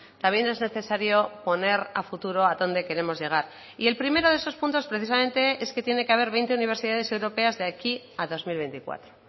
también es necesario poner a futuro a dónde queremos llegar y el primero de esos puntos precisamente es que tiene que haber veinte universidades europeas de aquí a dos mil veinticuatro